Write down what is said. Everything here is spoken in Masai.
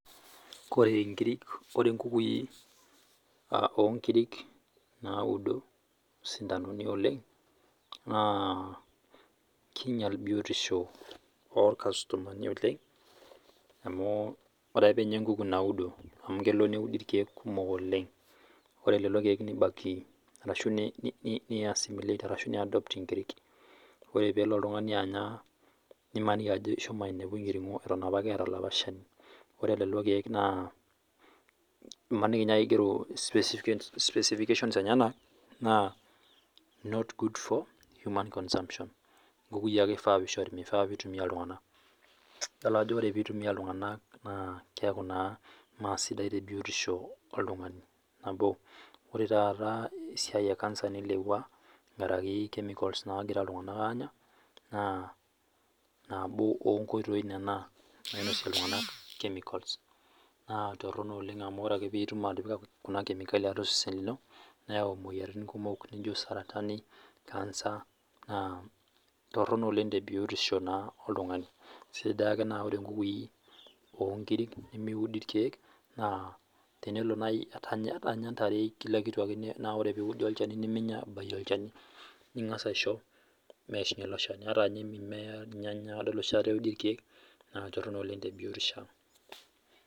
Ore nkukuni oo nkera naudo sindanoni oleng naa kinyial biotisho irkastomani oleng amu ore ake pinyia enkuku naudo amu kelo neudi irkeek kumok oleng ore leelo keek nibaki ashu niadopt ore peelo oltung'ani Anya nilo Anya enkiringo Eton apake etaa olopa Shani ore lelo keek aa kigero specifications enyenanaa not good for human consumption nkukui eifaa peisho mifaa pitumia iltung'ana edolita Ajo ore pitumia iltung'ana naa keeku naa mee sidai tee biotisho oltung'ani nabo ore taata esiai ee cancer nilepua nkeraki chemicals naagira iltung'ana Anya naa nabo onkoitoi ena nainosie iltung'ana chemicals naa torrono oleng amu ore pee etumoki atipika Kuna kemikali atua osesen lino neeyau moyiaritin kumok naijio dmsaratani, cancer, naa Torono oleng tee biotisho naa oltung'ani kesidai ake enaa ore nkukui oo nkiri nemudi irkeek ata ninye ntaare kila kitu akeyie na ore pee eudi niminyia ebayie elo Shani ningas aishoo meyishunye elo Shani etaa ninye mimea, Nganya oshii eudi irkeek naa Torono oleng tee biotisho ang